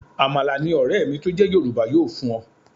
Àmàlà ni ọ̀rẹ́ mi tó jẹ́ Yorùbá yóò fún ọ.